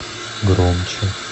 громче